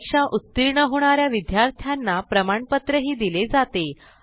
परीक्षा उत्तीर्ण होणा या विद्यार्थ्यांना प्रमाणपत्रही दिले जाते